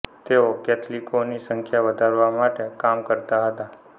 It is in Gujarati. તેઓ કૅથલિકોની સંખ્યા વધારવા માટે કામ કરતાં હતાં